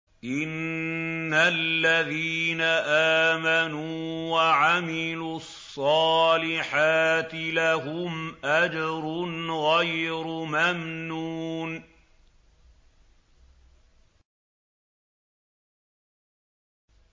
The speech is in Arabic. إِنَّ الَّذِينَ آمَنُوا وَعَمِلُوا الصَّالِحَاتِ لَهُمْ أَجْرٌ غَيْرُ مَمْنُونٍ